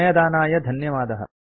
समयदानाय धन्यवादः